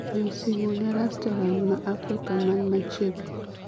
goyo simu ne restoran ma Afrika man machiegni